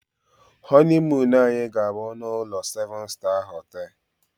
honeymoon anyị na-aga na-na seven star ụlọ oriri nwee ọṅụṅụ asa.